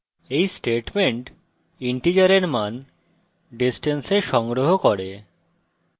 এই statement integer মান distance এ সংগ্রহ করে